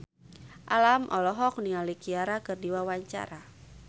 Alam olohok ningali Ciara keur diwawancara